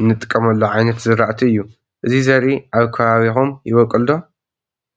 እንጥቀመሉ ዓይነት ዝራእቲ እዩ። አዚ ዘሪኢ አብ ከባቢኩም ይቦቅል ዶ?